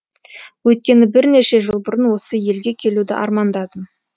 өйткені бірнеше жыл бұрын осы елге келуді армандадым